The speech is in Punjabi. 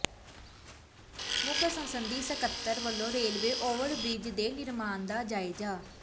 ਮੁੱਖ ਸੰਸਦੀ ਸਕੱਤਰ ਵੱਲੋਂ ਰੇਲਵੇ ਓਵਰਬ੍ਰਿਜ ਦੇ ਨਿਰਮਾਣ ਦਾ ਜਾਇਜ਼ਾ